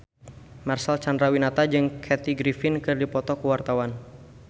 Marcel Chandrawinata jeung Kathy Griffin keur dipoto ku wartawan